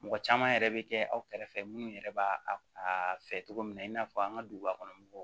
Mɔgɔ caman yɛrɛ bɛ kɛ aw kɛrɛfɛ minnu yɛrɛ b'a fɛ cogo min na i n'a fɔ an ka duguba kɔnɔmɔgɔw